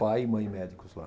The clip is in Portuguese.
Pai e mãe médicos lá.